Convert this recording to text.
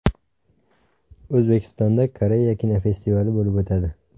O‘zbekistonda Koreya kinofestivali bo‘lib o‘tadi.